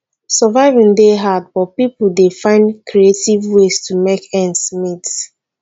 surviving dey hard but pipo dey find creative ways to make ends meet